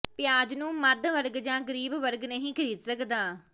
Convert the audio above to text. ਪਿਆਜ ਨੂੰ ਮੱਧ ਵਰਗ ਜਾਂ ਗਰੀਬ ਵਰਗ ਨਹੀਂ ਖਰੀਦ ਸਕਦਾ